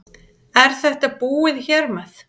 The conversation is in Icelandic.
Er þetta búið hér með?